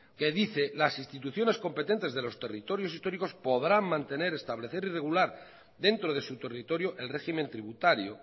que dice las instituciones competentes de los territorios históricos podrán mantener establecer y regular dentro de su territorio el régimen tributario